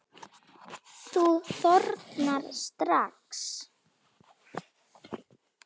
Þú þornar strax.